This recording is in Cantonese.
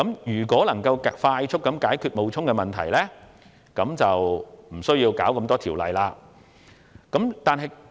如能快速解決冒充的問題，便無須處理多項修例衍生的問題。